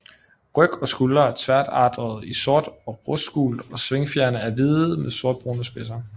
Ryg og skuldre er tværvatrede i sort og rustgult og svingfjerene er hvide med sortbrune spidser